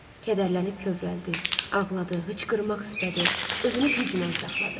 Kədərlənib kövrəldi, ağladı, hıçqırmaq istədi, özünü güclə saxladı.